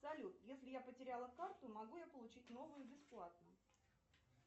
салют если я потеряла карту могу я получить новую бесплатно